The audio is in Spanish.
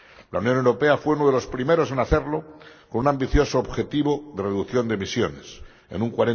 La Unión Europea fue uno de los primeros en hacerlo con un ambicioso objetivo de reducción de emisiones en un